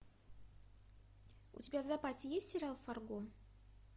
у тебя в запасе есть сериал фарго